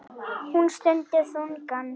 Hún stundi þungan.